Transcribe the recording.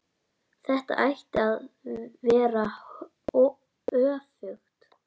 Þetta ætti að vera öfugt.